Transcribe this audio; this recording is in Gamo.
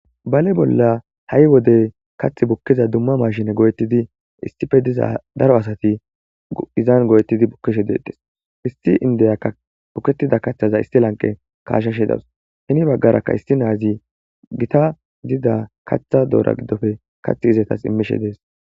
Bale bolla ha'i wode dizay kaaththi bukiday machinne go'ettidi issipe diza daro asatti izan go'ettizzi de'ettes . Issi indiyakka bukkettiza kaththa kashshashe daws. Hezarakka issi na'azi giita gidida kaththa doora gidippe kaththidetas immishe de'es.